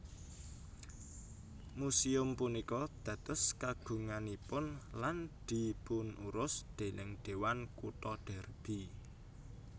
Muséum punika dados kagunganipun lan dipunurus déning Dewan Kutha Derby